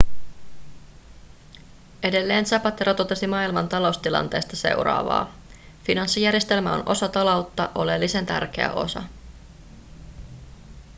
edelleen zapatero totesi maailman taloustilanteesta seuraavaa finanssijärjestelmä on osa taloutta oleellisen tärkeä osa